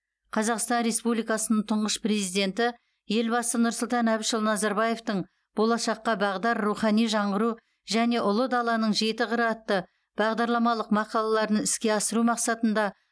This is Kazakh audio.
қазақстан республикасының тұңғыш президенті елбасы нұрсұлтан әбішұлы назарбаевтың болашаққа бағдар рухани жаңғыру және ұлы даланың жеті қыры атты бағдарламалық мақалаларын іске асыру мақсатында